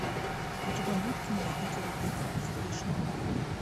у тебя будет кино в питере пить сергей шнуров